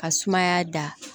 Ka sumaya da